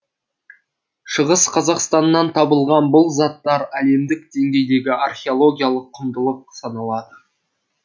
шығыс қазақстаннан табылған бұл заттар әлемдік деңгейдегі археологиялық құндылық саналады